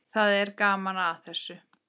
Það er gaman að þessu.